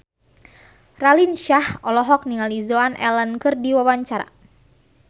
Raline Shah olohok ningali Joan Allen keur diwawancara